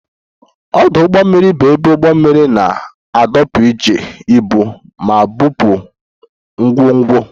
Ọdụ ụgbọ mmiri bụ ebe ụgbọ mmiri na-adọkpụ iji ibu ma bupụ ngwongwo